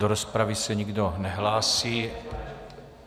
Do rozpravy se nikdo nehlásí.